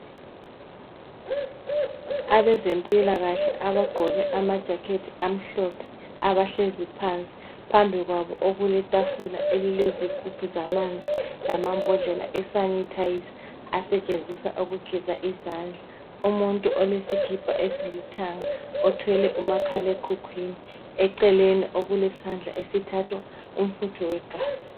Abezempilakahle abagqoke amajakhethi amhlophe abahlezi phansi. Phambi kwabo okuletafula elilezigubhu zamanzi lamambondlela esanithayiza asetshenziswa ukugeza izandla. Umuntu olesikipa esilithanga othwele umakhalekhukhwini. Eceleni okulesandla esithathwa umfutho wegazi.